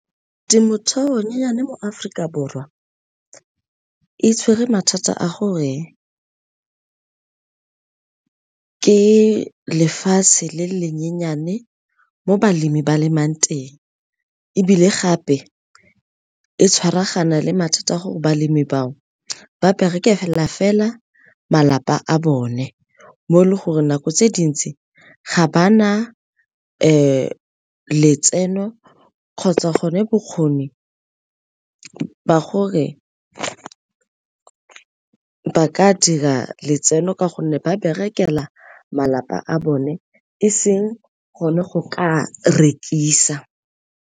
Temothuo e nyenyane mo Aforika Borwa e tshwere mathata a gore ke lefatshe le le nyenyane mo balemi ba lemang teng, ebile gape e tshwaragana le mathata a gore balemi bao ba berekela fela malapa a bone mo e leng gore nako tse dintsi ga bana letseno kgotsa gone bokgoni ba gore ba ka dira letseno ka gonne ba berekela malapa a bone eseng gone go ka rekisa.